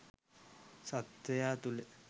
සත්වයා තුළ